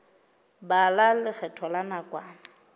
bala lekgetho la nakwana ka